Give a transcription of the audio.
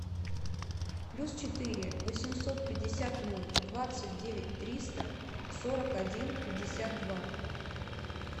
плюс четыре восемьсот пятьдесят ноль двадцать девять триста сорок один пятьдесят два